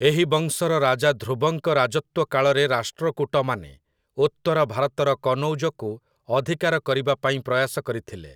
ଏହି ବଂଶର ରାଜା ଧ୍ରୁବଙ୍କ ରାଜତ୍ୱକାଳରେ ରାଷ୍ଟ୍ରକୂଟମାନେ ଉତ୍ତରଭାରତର କନୌଜକୁ ଅଧିକାର କରିବା ପାଇଁ ପ୍ରୟାସ କରିଥିଲେ ।